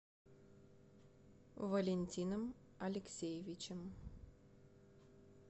валентином алексеевичем